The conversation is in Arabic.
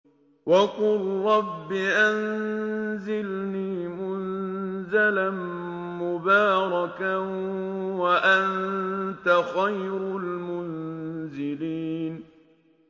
وَقُل رَّبِّ أَنزِلْنِي مُنزَلًا مُّبَارَكًا وَأَنتَ خَيْرُ الْمُنزِلِينَ